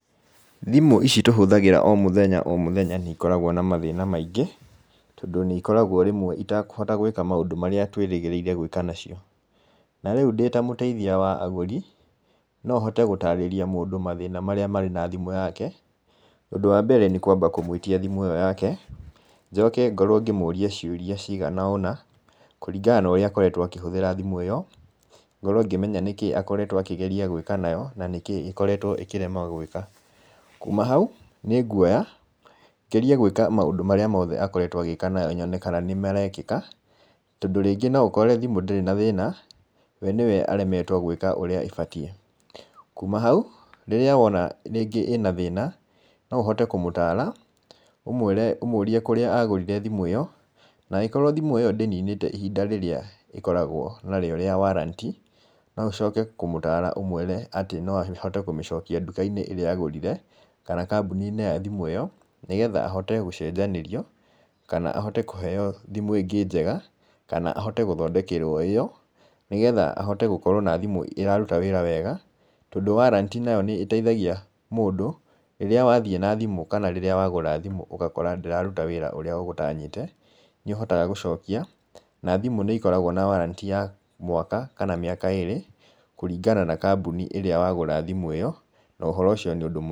Thimũ ici tũhũthagĩra o mũthenya o mũthenya nĩ ikoragwo na mathĩna maingĩ, tondũ nĩ ikoragwo rĩmwe itakũhota gwĩka maũndũ marĩa twĩrĩgĩrĩire gwĩka nacio. Na rĩu ndĩ ta mũteithia wa agũri, no hote gũtarĩria mũndũ mathĩna marĩa marĩ na thimũ yake. Ũndũ wa mbere nĩ kwamba kũmwĩtia thimũ ĩyo yake, njoke ngorwo ngĩmũria ciũria cigana ũna, kũringana na ũrĩa akoretwo akĩhũthĩra thimũ ĩyo, ngorwo ngĩmenya nĩkĩ akoretwo akĩgeria gwĩka nayo, na nĩkĩĩ ĩkoretwo ĩkĩrema gwĩka. Kuma hau, nĩ nguoya ngerie gwĩka maũndũ marĩa mothe akoretwo agĩka nayo nyone kana nĩ marekĩka, tondũ rĩngĩ no ũkore thimũ ndĩrĩ na thĩna, we nĩwe aremetwo gwĩka ũrĩa abatie. Kuma hau, rĩrĩa wona rĩngĩ ĩna thĩna, no ũhote kũmũtara, ũmwĩre, ũmũrie kũrĩa agũrire thimũ ĩyo, na angĩkorwo thimũ ĩyo ndĩninete ihinda rĩrĩa ĩkoragwo nayo rĩa warranty, no ũcoke kũmũtara ũmwĩre atĩ no ahote kũmĩcokia ndũka-inĩ ĩrĩa agũrire, kana kambuni-inĩ ya thimũ ĩyo, nĩgetha ahote gũcenjanĩrio, kana ahote kũhoe thimũ ingĩ njega, kana ahote gũthondekerwo o ĩyo, nĩgetha ahote gũkorwo na thimũ ĩraruta wĩra wega, tondũ warranty nayo nĩ ĩteithagia mũndũ, rĩrĩa wathiĩ na thimũ kana rĩrĩa wagũra thimũ ũgakora ndĩraruta wĩra ũrĩa ũgũtanyĩte, nĩ ũhotaga gũcokia, na thimũ nĩ ikoragwo na warranty ya mwaka, kana mĩaka ĩrĩ, kũringana na kambuni ĩrĩa wagũra thimũ ĩyo, na ũhoro ũcio nĩ ũndũ mwega.